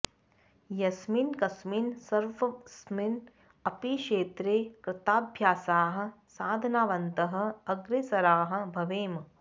यस्मिन् कस्मिन् सर्वस्मिन् अपि क्षेत्रे कृताभ्यासाः साधनावन्तः अग्रेसराः भवेम